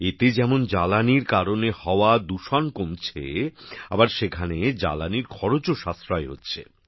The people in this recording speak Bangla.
এতে যেমন জ্বালানির কারণে হওয়া দূষণ কমেছে আবার সেখানে জ্বালানির খরচও সাশ্রয় হচ্ছে